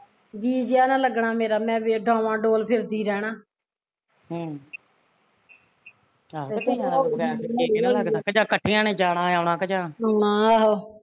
ਜੀਅ ਜਿਹਾ ਨਾ ਲੱਗਣ ਮੇਰਾ ਮੈਂ ਡਾਵਾਂ ਡੋਲ ਫਿਰਦੀ ਰਹਣਾ ਹਾਂ ਆਹੋ